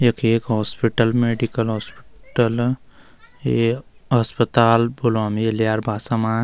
यख एक hospital medical hospital ये अस्पताल बुल्यों ल्यार भासा मा।